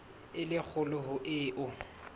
e le kgolo ho eo